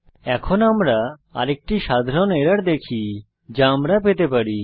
এখন আমরা আরেকটি সাধারণ এরর দেখি যা আমরা পেতে পারি